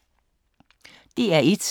DR1